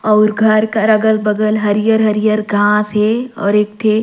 अउर घर कर अगल-बगल हरियर-हरियर घाँस हे और एक ठे।